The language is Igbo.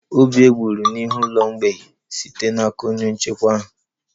Obi eburu n'ihu ụlọ mgbei site n'aka onye nchekwa ahụ